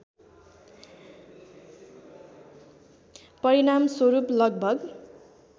परिणामस्वरूप लगभग